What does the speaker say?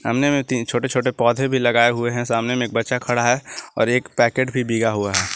सामने में तीन छोटे छोटे पौधे भी लगाए हुए हैं सामने में एक बच्चा खड़ा है और एक पैकेट भी बिगा हुआ है।